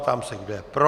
Ptám se, kdo je pro.